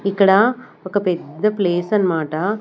ఇక్కడ ఒక పెద్ద ప్లేస్ అన్నమాట.